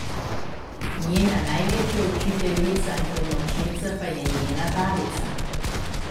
Njena največja učiteljica in pomočnica pa je njena babica.